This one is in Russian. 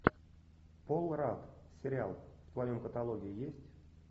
пол радд сериал в твоем каталоге есть